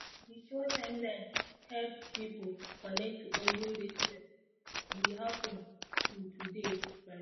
di show timeline help people connect to olden days things we happen to today tradition.